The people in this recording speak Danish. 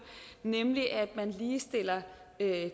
nemlig at man ligestiller